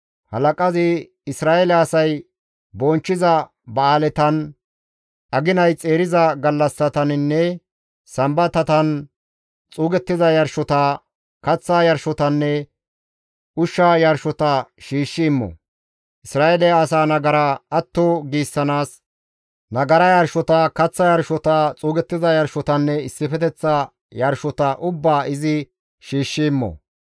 Halaqazi Isra7eele asay bonchchiza ba7aaletan, aginay xeeriza gallassataninne Sambatatan xuuggiza yarshota, kaththa yarshotanne ushsha yarshota shiishshi immo. Isra7eele asa nagara atto giissanaas, nagara yarshota, kaththa yarshota, xuugettiza yarshotanne issifeteththa yarshota ubbaa izi shiishshi immo.